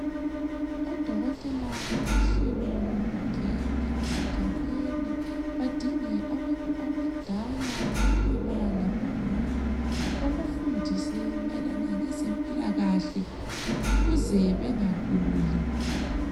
Odokotela balohlelo lokungena esigabeni badinge abantu abadala, obaba labomama. Babafundise mayelana ngezempilakahle ukuze bengaguli.